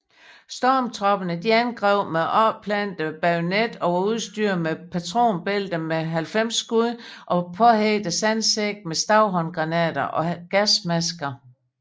Stormtropperne angreb med opplantet bajonet og var udstyret med patronbælter med 90 skud og påhægtede sandsække med stavhåndgranater og gasmasker